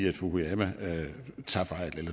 at fukuyama